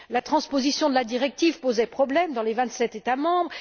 La transposition de la directive posait problème dans les vingt sept États membres.